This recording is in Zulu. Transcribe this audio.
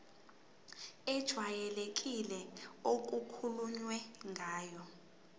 ejwayelekile okukhulunywe ngayo